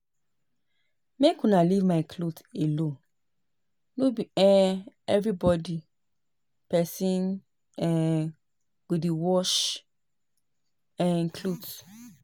Make una leave my cloth alone no be um everyday person um go dey wash um cloth